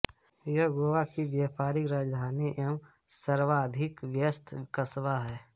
यह गोवा की व्यापारिक राजधानी एवं सर्वाधिक व्यस्त कस्बा है